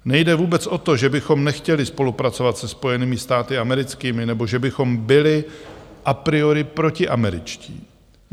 Nejde vůbec o to, že bychom nechtěli spolupracovat se Spojenými státy americkými nebo že bychom byli a priori protiameričtí.